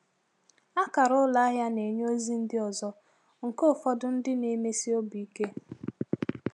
Akara ụlọ ahịa na-enye ozi ndị ọzọ, nke ụfọdụ ndị na-emesi obi ike.